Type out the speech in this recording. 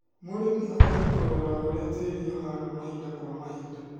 Mũrĩmi abatie kũrora ũrĩa tĩĩri ũhana mahinda kwa mahinda